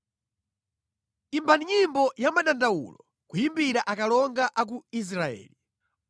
“Imba nyimbo ya madandawulo, kuyimbira akalonga a ku Israeli.